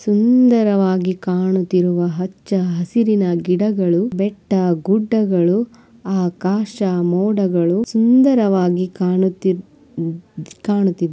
ಸುಂದರವಾಗಿ ಕಾಣುತ್ತಿರುವ ಹಚ್ಚ ಹಸಿರಿನ ಗಿಡಗಳು ಬೆಟ್ಟ ಗುಡ್ಡಗಳು ಆಕಾಶ ಮೋಡಗಳು ಸುಂದರವಾಗಿ ಕಾಣುತ್ತಿ-ಕಾಣುತ್ತಿದೆ.